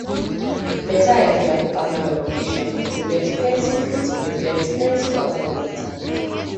beta idea for partner communication fit prevent plenty fit prevent plenty wahala later